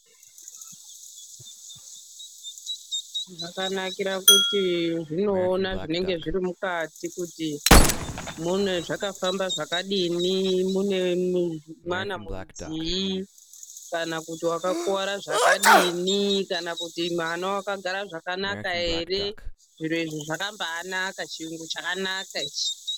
Michini yakanakira kuti inoona zvinenge zviri mukati kuti zvakafamba sei, mune mwana rudzii kana kuti wakakuwara zvakadini, kana kuti mwana wakagara zvakanaka ere. Zviro izvi zvakabaanaka, chiyungu chakanaka ichi.